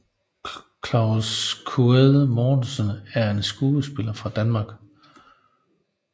Claes Quaade Mortensen er en skuespiller fra Danmark